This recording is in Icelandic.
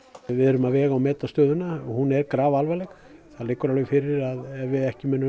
við erum að vega og meta stöðuna hún er grafalvarleg það liggur alveg fyrir að við ekki munum